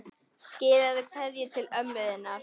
Skilaðu kveðju til ömmu þinnar.